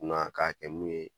Kunna ka kɛ mun ye